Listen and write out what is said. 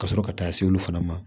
Ka sɔrɔ ka taa se olu fana ma